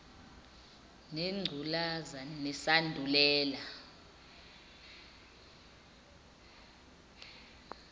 nengcu laza nesandulela